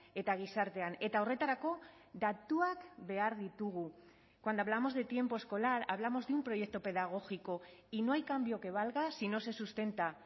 eta gizartean eta horretarako datuak behar ditugu cuando hablamos de tiempo escolar hablamos de un proyecto pedagógico y no hay cambio que valga si no se sustenta